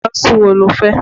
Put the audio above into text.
Kánsù wo lo fẹ́?